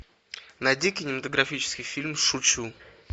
найди кинематографический фильм шучу